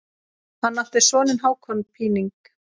Hann átti soninn Hákon Píning.